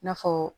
I n'a fɔ